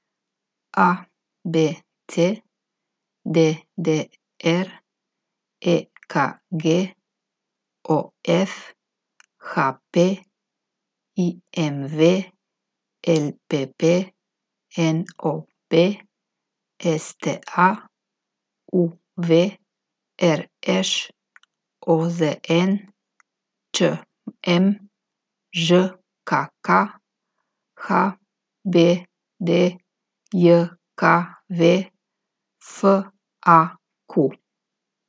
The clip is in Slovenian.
A B C; D D R; E K G; O F; H P; I M V; L P P; N O B; S T A; U V; R Š; O Z N; Č M; Ž K K; H B D J K V; F A Q.